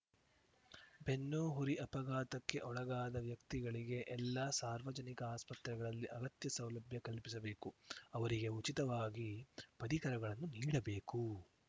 ಬೆನ್ನುಹುರಿ ಅಪಘಾತಕ್ಕೆ ಒಳಗಾದ ವ್ಯಕ್ತಿಗಳಿಗೆ ಎಲ್ಲಾ ಸಾರ್ವಜನಿಕ ಆಸ್ಪತ್ರೆಗಳಲ್ಲಿ ಅಗತ್ಯ ಸೌಲಭ್ಯ ಕಲ್ಪಿಸಬೇಕು ಅವರಿಗೆ ಉಚಿತವಾಗಿ ಪರಿಕರಗಳನ್ನು ನೀಡಬೇಕು